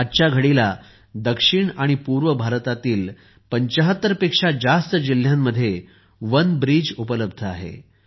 आजघडीला दक्षिण आणि पूर्व भारतातील 75 पेक्षा जास्त जिल्ह्यांमध्ये वनब्रिज उपलब्ध आहे